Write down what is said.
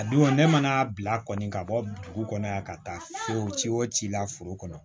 A don ne mana bila kɔni ka bɔ dugu kɔnɔ yan ka taa o ci o ci la foro kɔnɔ